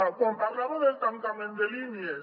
quan parlava del tancament de línies